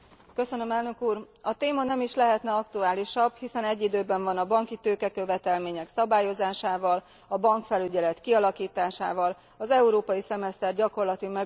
A téma nem is lehetne aktuálisabb, hiszen egy időben van a banki tőkekövetelmények szabályozásával, a bankfelügyelet kialakításával, az európai szemeszter gyakorlati megvalósulásával.